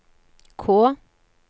K